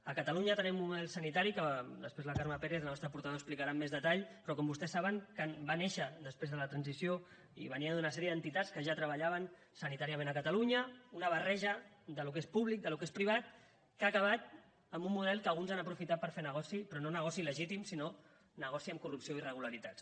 a catalunya tenim un model sanitari que després la carme pérez la nostra portaveu explicarà amb més detall que com vostès saben va néixer després de la transició i venia d’una sèrie d’entitats que ja treballaven sanitàriament a catalunya una barreja del que és públic del que és privat que ha acabat en un model que alguns han aprofitat per fer negoci però no negoci legítim sinó negoci amb corrupció i irregularitats